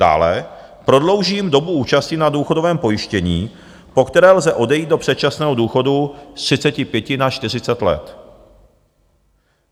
Dále prodlouží dobu účasti na důchodovém pojištění, po které lze odejít do předčasného důchodu, z 35 na 40 let.